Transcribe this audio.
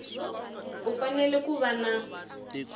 u fanele ku va na